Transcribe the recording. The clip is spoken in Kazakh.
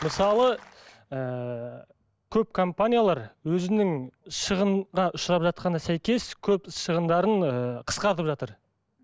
мысалы ыыы көп компаниялар өзінің шығынға ұшырап жатқанына сәйкес көп шығындарын ыыы қысқартып жатыр